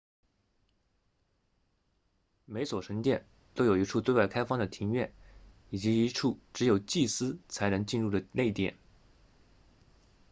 每所神殿都有一处对外开放的庭院以及一处只有祭司才能进入的内殿